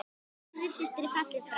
Auður systir er fallin frá.